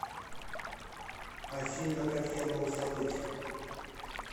афина как я мог забыть